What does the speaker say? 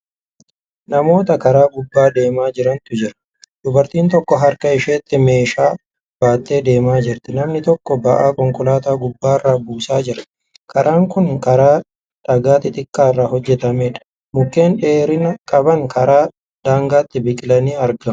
Namoota karaa gubbaa deemaa jirantu jira. dubartiin tokko harka isheetti meeshaa baattee deemaa jirti. namni tokko ba'aaa konkolaataa gubbaarra buusaa jira. karaan Kuni karaa dhagaa xixiqqaarraa hojjatameedha. mukkeen dheerina qaban karaa daangaatti biqilanii argamu.